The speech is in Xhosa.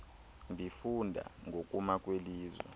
ndifunda ngokuma kwelizwe